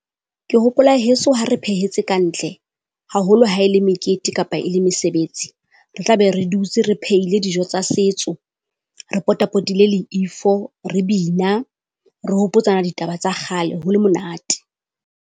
Ke hopola heso ha re phehetse ka ntle, haholo ha e le mekete kapa e le mesebetsi. Re tla be re dutse re phehile dijo tsa setso. Re potapotile le ifo re bina re hopotsana ditaba tsa kgale ho le monate.